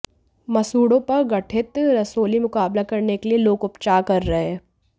मसूड़ों पर गठित रसौली मुकाबला करने के लिए लोक उपचार कर रहे हैं